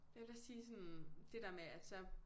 Jeg vil også sige sådan det der med at så